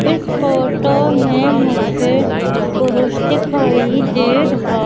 इस फोटो में मुझे पुरुष दिखाई दे रहा--